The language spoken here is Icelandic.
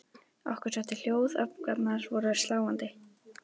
Okkur setti hljóð, öfgarnar voru svo sláandi.